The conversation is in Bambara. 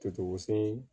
Totoko se